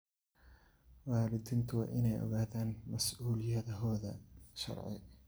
Waalidiintu waa inay ogaadaan mas'uuliyadahooda sharci.